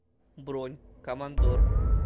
бронь командор